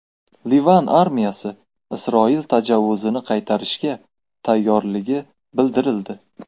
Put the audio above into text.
Livan armiyasi Isroil tajovuzini qaytarishga tayyorligi bildirildi.